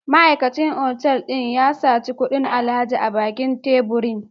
Ma'aikacin otal ya saci kudin alhaji a bakin teburin